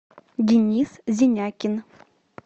денис зенякин